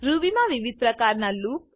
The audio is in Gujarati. રૂબી મા વિવિધ પ્રકારના લૂપ